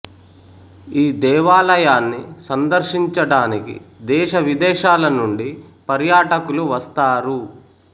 ఈ దేవాలయాన్ని సందర్శించడానికి దేశ విదేశాల నుండి పర్యాటకులు వస్తారు